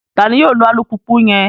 Tani yoo lo alupupu yẹn?